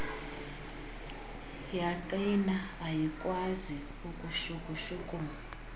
yaqina ayikwazi ukushukushukuma